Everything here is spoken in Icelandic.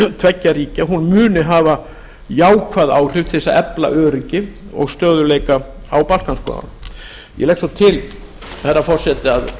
tveggja ríkja muni hafa jákvæð áhrif til að efla öryggið og stöðugleika á balkanskaganum ég legg svo til herra forseti að